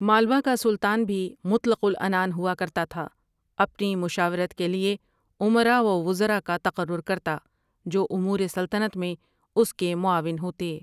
مالوہ کا سلطان بھی مطلق العنان ہوا کرتا تھا، اپنی مشاورت کے لیے امرا و وزرا کا تقرر کرتا، جو امور سلطنت میں اس کے معاون ہوتے۔